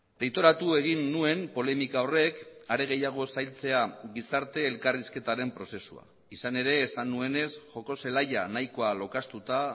deitoratu egin nuen polemika horrek are gehiago sailtzea gizarte elkarrizketaren prozesua izan ere esan nuenez joko zelaia nahikoa lokaztuta